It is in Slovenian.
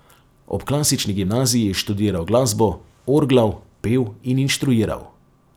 Ob klasični gimnaziji je študiral glasbo, orglal, pel in inštruiral.